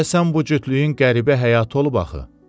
Deyəsən bu cütlüyün qəribə həyatı olub axı.